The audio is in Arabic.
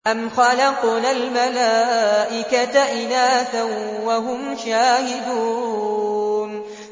أَمْ خَلَقْنَا الْمَلَائِكَةَ إِنَاثًا وَهُمْ شَاهِدُونَ